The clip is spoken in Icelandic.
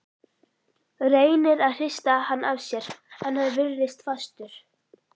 Reynir að hrista hann af sér en hann virðist fastur.